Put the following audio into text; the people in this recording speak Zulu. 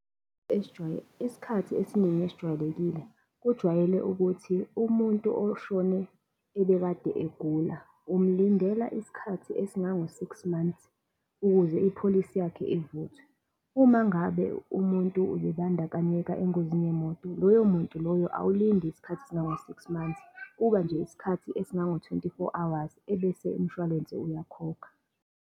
Isikhathi esiningi esijwayelekile, kujwayele ukuthi umuntu oshone ebekade egula umlindela iskhathi esingango-six months, ukuze ipholisi yakhe ivuthwe. Uma ngabe umuntu ubebandakanyeka engozini yemoto, loyo muntu loyo awulindi isikhathi esingango-six months, kuba nje isikhathi esingango-twenty-four hours, ebese umshwalense uyakhokha.